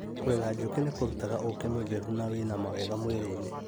Kũrera njũkĩ nĩkũrutaga ũkĩ mũtheru na wĩna mawega mwĩrĩ-inĩ